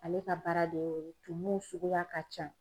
Ale ka baara de y'o ye tumuw suguya ka can.